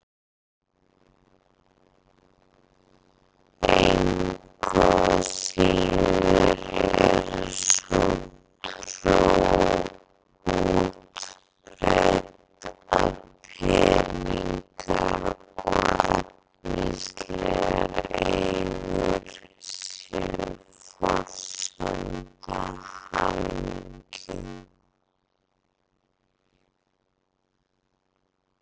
Engu að síður er sú trú útbreidd að peningar og efnislegar eigur séu forsenda hamingju.